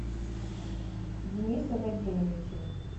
дениса вадимовича